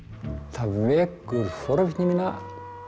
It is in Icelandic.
það vekur forvitni mína